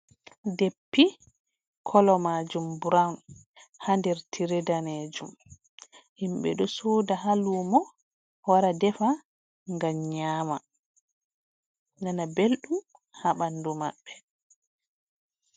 Deppi kolo majum burawun haa nder tiree danejum. Himɓe ɗo soda haa lumo wara defa ngam nyama nana belɗum haa ɓandu maɓɓe.